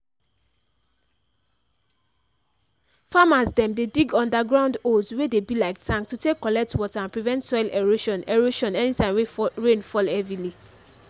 farmers dem dey dig underground holes wey dey be like takn to take collect water and prevent soil erosion erosion anytime wey rain fall heavily